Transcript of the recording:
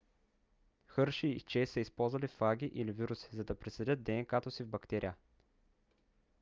хърши и чейс са използвали фаги или вируси за да присадят днк-то си в бактерия